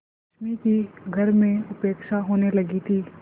रश्मि की घर में उपेक्षा होने लगी थी